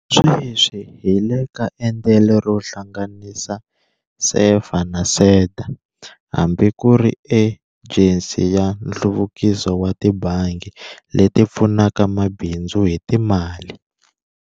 Sweswi hi le ka endlelo ro hlanganisa SEFA na SEDA hambi ku ri Ejensi ya Nhluvukiso wa Tibangi leti Pfunaka Mabindzu hi Timali.